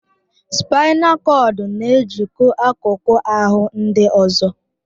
Spaịnal kọdụ n'ejikọ akụkụ ahụ ndị ọzọ